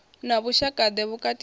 na vhushaka ḓe vhukati ha